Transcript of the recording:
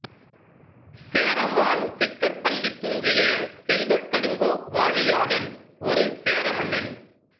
சேரமான் சிக்கற்பள்ளித் துஞ்சிய செல்வக்கடுங்கோ வாழியாதன் ஒரு சேர மன்னன்